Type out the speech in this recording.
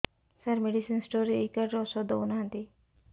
ସାର medicine store ରେ ଏଇ card ରେ ଔଷଧ ଦଉନାହାନ୍ତି